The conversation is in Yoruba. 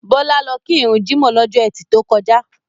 Bọlá lọ kí run jímọ̀ lọ́jọ́ ẹtì to kọjá.